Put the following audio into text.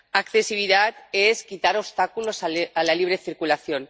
accesibilidad es quitar obstáculos a la libre circulación